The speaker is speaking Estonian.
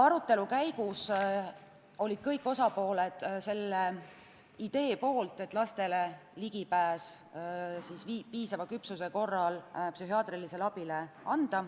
Arutelu käigus olid kõik osapooled selle poolt, et anda lastele piisava küpsuse korral ligipääs psühhiaatrilisele abile.